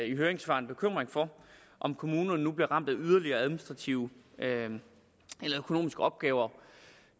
i høringssvarene bekymring for om kommunerne nu bliver ramt af yderligere administrative eller økonomiske opgaver